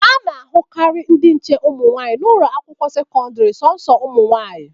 A na-ahụkarị ndị nche ụmụ nwaanyị n'ụlọ akwụkwọ sekọdịrị sọsọ ụmụnwaanyị.